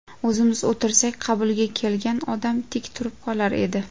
O‘zimiz o‘tirsak, qabulga kelgan odam tik turib qolar edi.